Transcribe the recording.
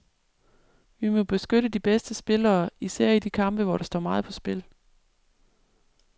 Vi må beskytte de bedste spillere, især i de kampe, hvor der står meget på spil.